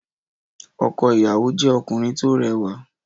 Ọkọ ìyàwó jẹ́ ọkùnrin tó rẹwà.